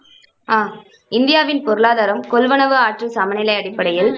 அஹ் இந்தியாவின் பொருளாதாரம் கொள்வனவு ஆற்றல் சமநிலை அடிப்படையில் மூணு புள்ளி முண்ணூத்தி அறுவத்தி